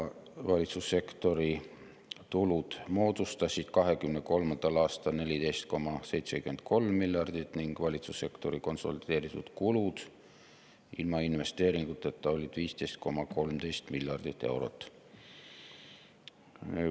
Valitsussektori tulud moodustasid 2023. aastal 14,73 miljardit ning valitsussektori konsolideeritud kulud ilma investeeringuteta olid 15,13 miljardit eurot.